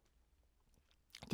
DR2